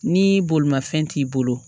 Ni bolimanfɛn t'i bolo